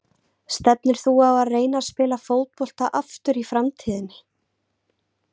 Stefnir þú á að reyna að spila fótbolta aftur í framtíðinni?